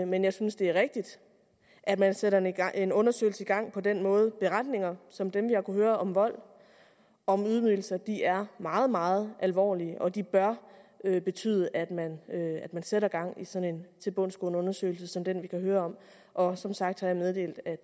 men jeg synes det er rigtigt at man sætter en undersøgelse i gang på den måde beretninger som dem jeg kunne høre om vold og ydmygelser er meget meget alvorlige og de bør betyde at man sætter gang i sådan en tilbundsgående undersøgelse som den vi kan høre om og som sagt har jeg meddelt at